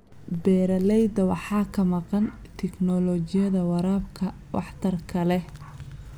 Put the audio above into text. Beeralayda waxaa ka maqan tignoolajiyada waraabka waxtarka leh.